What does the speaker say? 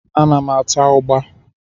Ana m ata ụgbá.